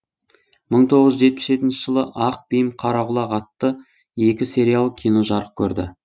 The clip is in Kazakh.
мың тоғыз жүз жетпіс жетінші жылы ақ бим қара құлақ атты екі сериялы кино жарық көрді